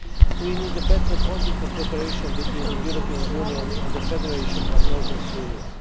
We need better political cooperation between the European Union and the Federation of Northern Syria.